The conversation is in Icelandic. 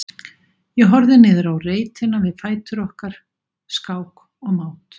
Ég horfði niður á reitina við fætur okkar, skák og mát.